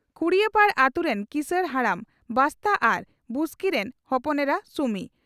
ᱠᱷᱩᱰᱟᱹᱭᱯᱟᱲ ᱟᱹᱛᱩ ᱨᱮᱱ ᱠᱤᱥᱟᱹᱲ ᱦᱟᱲᱟᱢ ᱵᱟᱥᱛᱟ ᱟᱨ ᱵᱩᱥᱠᱤ ᱨᱤᱱ ᱦᱚᱯᱚᱱ ᱮᱨᱟ ᱥᱩᱢᱤ